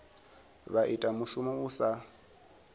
vha ita mushumo u sa